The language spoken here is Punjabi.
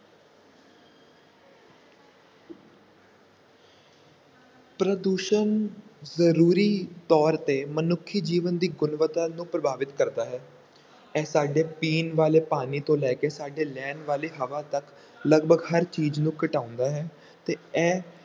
ਪ੍ਰਦੂਸ਼ਣ ਜ਼ਰੂਰੀ ਤੌਰ ‘ਤੇ ਮਨੁੱਖੀ ਜੀਵਨ ਦੀ ਗੁਣਵੱਤਾ ਨੂੰ ਪ੍ਰਭਾਵਿਤ ਕਰਦਾ ਹੈ, ਇਹ ਸਾਡੇ ਪੀਣ ਵਾਲੇ ਪਾਣੀ ਤੋਂ ਲੈ ਕੇ ਸਾਡੇ ਲੈਣ ਵਾਲੀ ਹਵਾ ਤੱਕ ਲਗਭਗ ਹਰ ਚੀਜ਼ ਨੂੰ ਘਟਾਉਂਦਾ ਹੈ ਤੇ ਇਹ